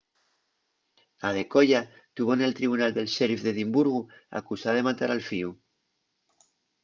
adekoya tuvo nel tribunal del sheriff d’edimburgu acusada de matar al fíu